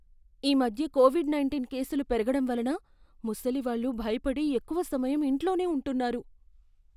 ఈ మధ్య covid nineteen కేసులు పెరగడం వలన ముసలివాళ్ళు భయపడి ఎక్కువ సమయం ఇంట్లోనే ఉంటున్నారు.